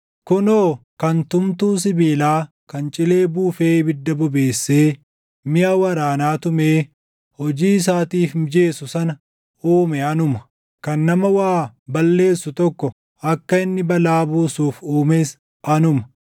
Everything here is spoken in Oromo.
“Kunoo, kan tumtuu sibiilaa kan cilee buufee ibidda bobeessee miʼa waraanaa tumee hojii isaatiif mijeessu sana uume anuma. Kan nama waa balleessu tokko akka inni balaa buusuuf uumes anuma;